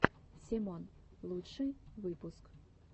семон лучший выпуск